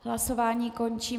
Hlasování končím.